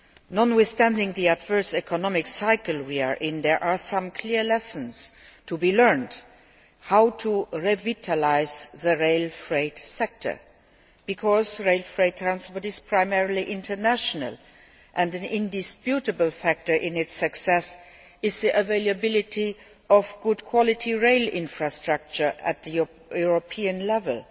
Notwithstanding the adverse economic cycle we are in, there are some clear lessons to be learned how to revitalise the rail freight sector, because rail freight transport is primarily international, and an indisputable factor in its success is the availability of good quality rail infrastructure at the European level.